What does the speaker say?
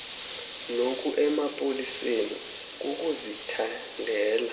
noku emapoliseni kukuzithandela